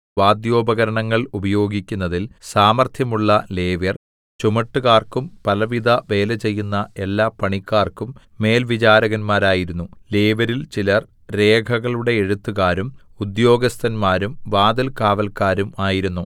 വാദ്യോപകരണങ്ങൾ ഉപയോഗിക്കുന്നതിൽ സാമർത്ഥ്യമുള്ള ലേവ്യർ ചുമട്ടുകാർക്കും പലവിധ വേലചെയ്യുന്ന എല്ലാ പണിക്കാർക്കും മേൽവിചാരകന്മാരായിരുന്നു ലേവ്യരിൽ ചിലർ രേഖകളുടെ എഴുത്തുകാരും ഉദ്യോഗസ്ഥന്മാരും വാതിൽകാവല്ക്കാരും ആയിരുന്നു